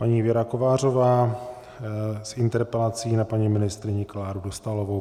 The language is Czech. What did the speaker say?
Paní Věra Kovářová s interpelací na paní ministryni Kláru Dostálovou.